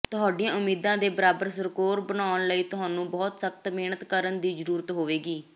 ਤੁਹਾਡੀਆਂ ਉਮੀਦਾਂ ਦੇ ਬਰਾਬਰ ਸਕੋਰ ਬਣਾਉਣ ਲਈ ਤੁਹਾਨੂੰ ਬਹੁਤ ਸਖਤ ਮਿਹਨਤ ਕਰਨ ਦੀ ਜ਼ਰੂਰਤ ਹੋਏਗੀ